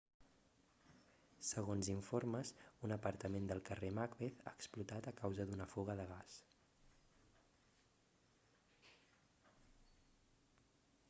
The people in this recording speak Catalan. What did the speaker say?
segons informes un apartament del carrer macbeth ha explotat a causa d'una fuga de gas